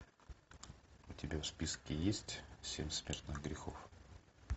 у тебя в списке есть семь смертных грехов